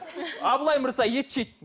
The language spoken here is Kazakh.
абылай мырза ет жейді